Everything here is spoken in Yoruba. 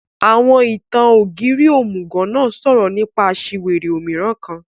Àwọn ìtan-Ogírì ómugọ náà sọrọ nipa aṣiwere ómiràn kan